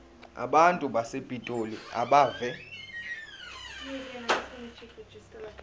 abantu basepitoli abeve